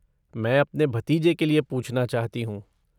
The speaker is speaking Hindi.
मैं अपने भतीजे के लिए पूछना चाहती हूँ।